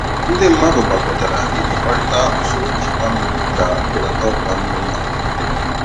Ndị mmadụ gbakọtara iji kparịta usoro nchekwa mmiri ka mbelata ọkwa mmiri na mberede.